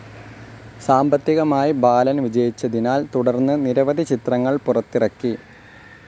സാമ്പത്തികമായി ബാലൻ വിജയിച്ചതിനാൽ തുടർന്ന് നിരവധി ചിത്രങ്ങൾ പുറത്തിറക്കി.